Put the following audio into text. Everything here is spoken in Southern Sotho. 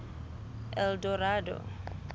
eldorado